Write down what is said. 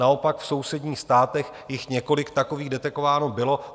Naopak, v sousedních státech jich několik takových detekováno bylo.